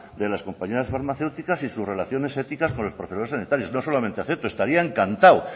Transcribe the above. de las compañías farmacéuticas y sus relaciones éticas con los profesionales sanitarios no solamente acepto estaría encantado